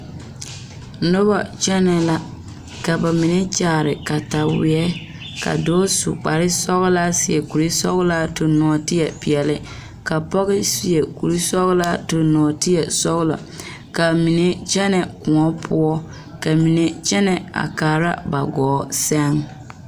Noba kyɛnɛ la ka ba mine kyaare kataweere ka su kpar sɔgelaa seɛ kuri sɔgelaa tuŋ nɔɔte peɛle ka pɔge seɛ kuri sɔgelaa tuŋ nɔɔte sɔgelaa kaa mine kyɛnɛ kóɔ poɔ ka mine kyɛnɛ a kaara ba kɔɔ seŋ